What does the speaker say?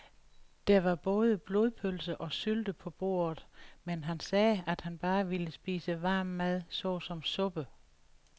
Der var både blodpølse og sylte på bordet, men han sagde, at han bare ville spise varm mad såsom suppe.